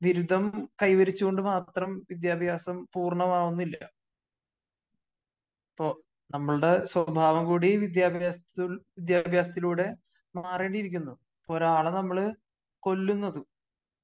ബിരുദം കൈവരിച്ചത് കൊണ്ട് മാത്രം വിദ്യാഭ്യാസം പൂർണമാകുന്നില്ല. അപ്പോ നമ്മളുടെ സ്വഭാവം കൂടി വിദ്യാഭ്യാസത്തി വിദ്യാഭ്യാസത്തിലൂടെ മാറേണ്ടിയിരിക്കുന്നു. ഇപ്പോ ഒരാളെ നമ്മള് കൊല്ലുന്നത്